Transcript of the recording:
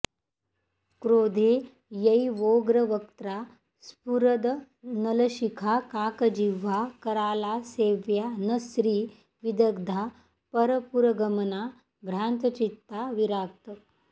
क्रोधे यैवोग्रवक्त्रा स्फुरदनलशिखा काकजिह्वा कराला सेव्या न स्त्री विदग्धा परपुरगमना भ्रान्तचित्ता विराक्त